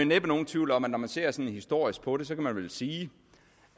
næppe nogen tvivl om at når man ser sådan historisk på det kan man vel sige